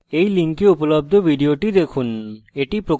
এই link উপলব্ধ video দেখুন